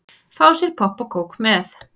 Fá sér popp og kók með.